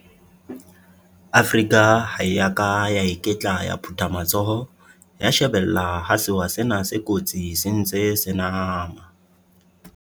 Afrika ha e ya ka ya iketla ya phutha matsoho ya shebella ha sewa sena se kotsi se ntse se nama.